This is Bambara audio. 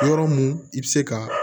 Yɔrɔ mun i bi se ka